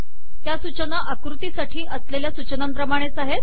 त्या सूचना आकृती साठी असलेल्या सूचनांप्रमाणेच आहेत